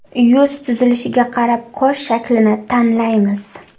Yuz tuzilishiga qarab qosh shaklini tanlaymiz .